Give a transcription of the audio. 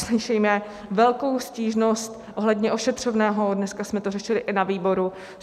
Slyšíme velkou stížnost ohledně ošetřovného, dneska jsme to řešili i na výboru.